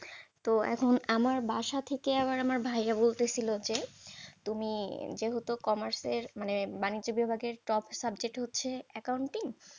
তো এখন আমার বাসা থেকে আবার আমার ভাইয়া বলতেছিল যে, তুমি যেহেতু commerce এর মানে বাণিজ্যিক বিভাগে top subject হচ্ছে accounting?